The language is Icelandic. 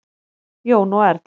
Jón og Erla.